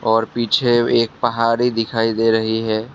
और पीछे एक पहाड़ी दिखाई दे रही है।